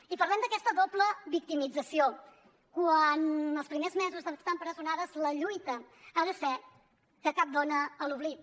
i parlem d’aquesta doble victimització quan els primers mesos d’estar empresonades la lluita ha de ser que cap dona en l’oblit